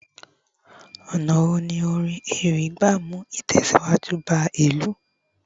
ọnà wo ni orin ewì gba mu itẹsiwaju ba ilu